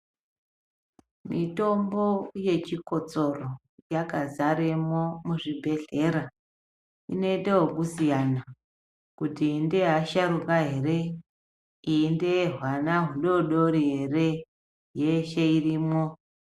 Mitombo yechikotsoro yakazaremo muzvibhehlera .Inoiteokusiyana kuti iyi ndeyeasharuka here , iyi ndeyehwana hudoodori ere , yeshe irimwo .